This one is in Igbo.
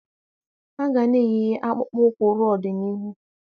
A ga-ana eyi akpụkpọ ụkwụ ruo ọdịnihu.